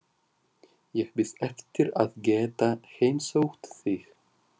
Ég bíð eftir að geta heimsótt þig.